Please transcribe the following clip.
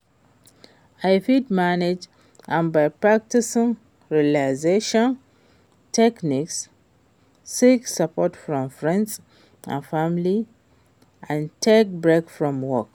i fit manage am by practicing relaxation techniques, seek support from friends and family and take breaks from work.